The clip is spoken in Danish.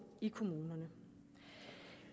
i kommunerne